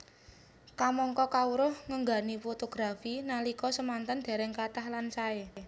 Kamangka kawruh ngenani fotografi nalika semanten dereng kathah lan sae